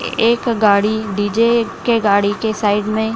एक गाड़ी डी.जे. के गाड़ी के साइड मे --